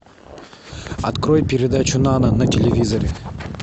открой передачу нано на телевизоре